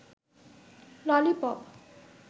lollipop